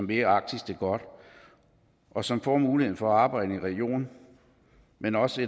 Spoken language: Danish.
vil arktis det godt og som får mulighed for at arbejde i en region men også